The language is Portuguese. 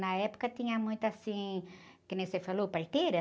Na época, tinha muito assim, que nem você falou, parteira.